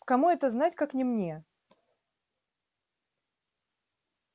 кому это знать как не мне